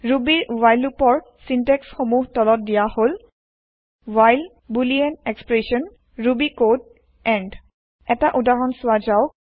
ৰুবিৰ while লুপৰ syntax সমুহ তলত দিয়া হল160 while boolean expression Ruby code end এটা উদাহৰণ চোৱা যাওক